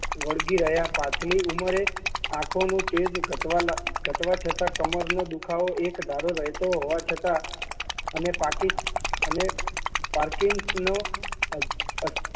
અસાધ્ય રોગ લાગુ પડ્યો હોવા છતાં તેમને પોતાની કલમ નું તેજ જાણવી રાખીયું